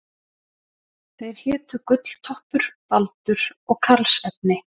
Þeir hétu Gulltoppur, Baldur og Karlsefni.